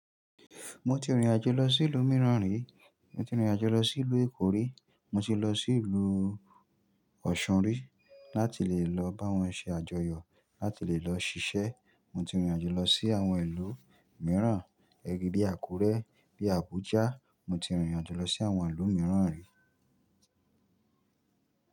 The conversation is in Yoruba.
Mo ti rìnrìn àjò lọ sí ìlú mìíràn rí, mo ti rìnrìn àjò lọ sí ìlú Èkó rí, mo ti lọ sí ìlú Òṣun rí láti lè lọ bá wọn ṣe àjọyọ̀, láti lè lọ ṣiṣẹ́. Mo ti rìnrìn àjò lọ sí àwọn ìlú mìíràn, ẹbí bí Àkúrẹ́, bí Abuja, mo ti rìnrìn àjò lọ sí àwọn ìlú mìíràn rí.